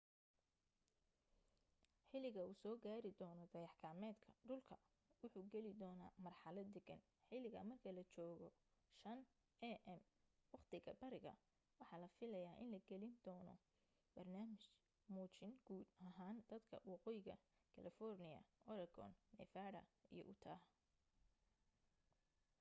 xiliga uu soo gaari doona dayax gacmeedka dhulka wuxuu geli doona marxalad degan xiliga marka la joogo 5am waqtiga bariga waxaa la filaya in la gelin doona barnaamij muujin guud ahaan dadka waqooyiga california oregon nevada iyo utah